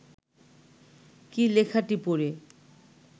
কী লেখাটি পড়ে